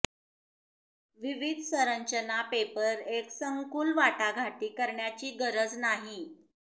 विविध संरचना पेपर एक संकुल वाटाघाटी करण्याची गरज नाही